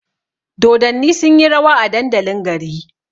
Dodanni sunyi rawa a dandalin gari